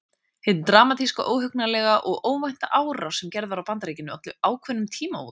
Hin dramatíska, óhugnanlega og óvænta árás sem gerð var á Bandaríkin olli ákveðnum tímamótum.